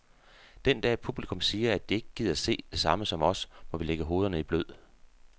Den dag publikum siger, at de ikke gider se det samme som os, må vi lægge hovederne i blød.